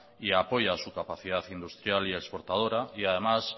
y apoya su capacidad industrial y exportadora y además